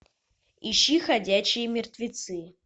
ищи ходячие мертвецы